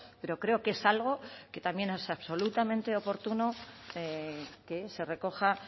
pero creo que es algo que también es absolutamente oportuno que se recoja